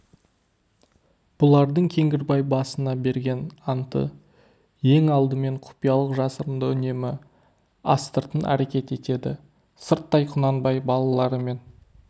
бұлардың кеңгірбай басында берген анты ең алдымен құпиялық жасырында үнемі астыртын әрекет етеді сырттай құнанбай балаларымен